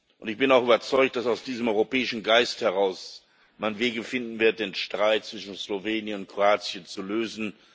Und ich bin auch überzeugt, dass man aus diesem europäischen Geist heraus Wege finden wird, den Streit zwischen Slowenien und Kroatien zu lösen.